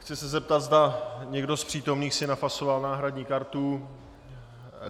Chci se zeptat, zda někdo z přítomných si nafasoval náhradní kartu.